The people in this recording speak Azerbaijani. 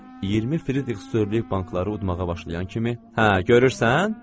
20 Fridrixsdorluq bankları udmağa başlayan kimi, hə, görürsən?